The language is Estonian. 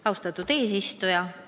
Austatud eesistuja!